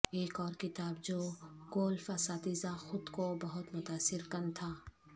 ایک اور کتاب جو گولف اساتذہ خود کو بہت متاثر کن تھا